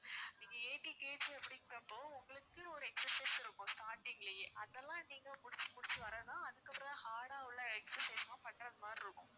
நீங்க eighty KG அப்படின்றப்போ உங்களுக்குன்னு ஒரு exercise இருக்கும் starting லயே அதெல்லாம் நீங்க முடிச்சி முடிச்சி வர தான் அதுக்கப்பறம் தான் hard ஆ உள்ள exercise லாம் பண்றது மாதிரி இருக்கும்